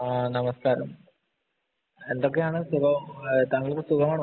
ആഹ് നമസ്കാരം എന്തൊക്കെയാണ് താങ്കൾക്ക് സുഖമാണോ